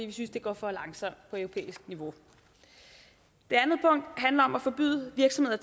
vi synes det går for langsomt på europæisk niveau det andet punkt handler om at forbyde virksomheder